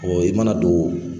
i mana don